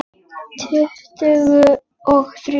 Tuttugu og þrjú!